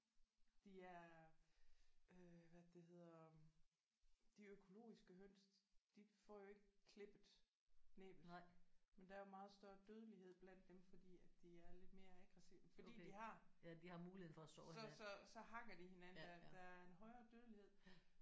De er øh hvad er det det hedder øh de økologiske høns de får jo ikke klippet næbbet men der er jo meget større dødelighed blandt dem fordi at de er lidt mere aggressive fordi de har så så hakker de hinanden. Der der er en højere dødelighed